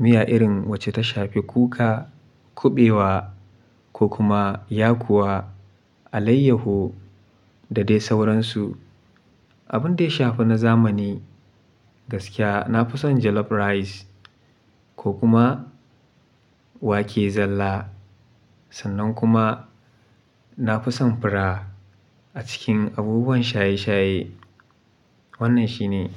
Miya irin wacce ta shafi kuka, kuɓewa ko kuma yakuwa alaiyahu da dai sauransu. Abun da ya shafi na zamani gaskiya na fi son jollof rice ko kuma wake zalla. Sannan kuma na fi son fura a cikin abubuwan shaye-shaye. Wannan shi ne.